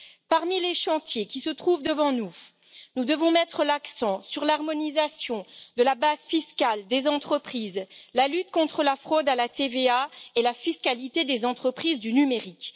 Parmi les chantiers qui se trouvent devant nous, nous devons mettre l'accent sur l'harmonisation de la base fiscale des entreprises, la lutte contre la fraude à la TVA et la fiscalité des entreprises du numérique.